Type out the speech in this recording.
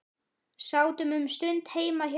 Sátum um stund heima hjá